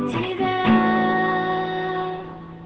время